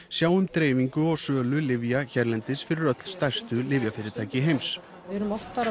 sjá um dreifingu og sölu lyfja hérlendis fyrir öll stærstu lyfjafyrirtæki heims við erum oft